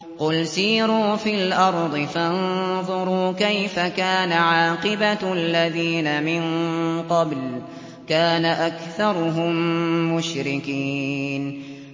قُلْ سِيرُوا فِي الْأَرْضِ فَانظُرُوا كَيْفَ كَانَ عَاقِبَةُ الَّذِينَ مِن قَبْلُ ۚ كَانَ أَكْثَرُهُم مُّشْرِكِينَ